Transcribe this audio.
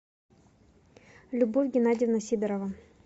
любовь геннадьевна сидорова